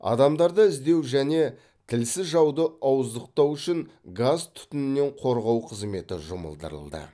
адамдарды іздеу және тілсіз жауды ауыздықтау үшін газ түтіннен қорғау қызметі жұмылдырылды